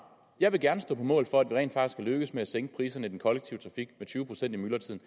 jeg vil gerne stå på mål for at vi rent faktisk har lykkedes med at sænke priserne i den kollektive trafik med tyve procent i myldretiden